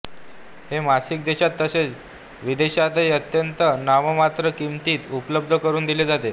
हे मासिक देशात तसेच विदेशांतही अत्यंत नाममात्र किंमतीत उपलब्ध करुन दिले जाते